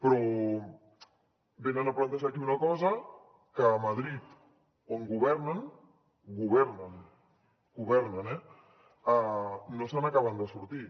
però venen a plantejar aquí una cosa que a madrid on governen governen eh no se n’acaben de sortir